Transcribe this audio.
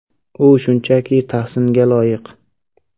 U shunchaki tahsinga loyiq.